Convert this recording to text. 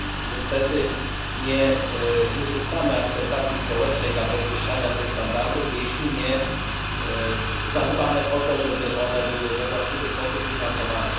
Niestety, nie uzyskamy akceptacji społecznej dla podwyższania tych standardów, jeśli nie zadbamy o to, żeby one były we właściwy sposób finansowane.